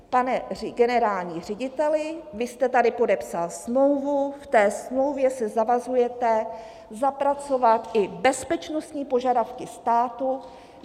Pane generální řediteli, vy jste tady podepsal smlouvu, v té smlouvě se zavazujete zapracovat i bezpečnostní požadavky státu.